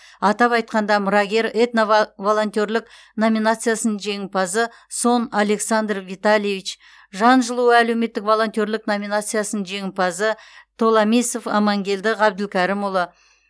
атап айтқанда мұрагер этно ва волонтерлік номинациясының жеңімпазы сон александр витальевич жан жылуы әлеуметтік волонтерлік номинациясының жеңімпазы толамисов амангелді ғабдылкәрімұлы